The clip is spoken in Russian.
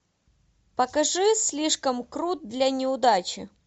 покажи слишком крут для неудачи